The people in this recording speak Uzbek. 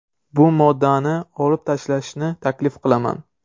Bu moddani olib tashlashni taklif qilaman.